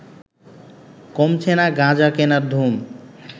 কমছে না গাঁজা কেনার ধুম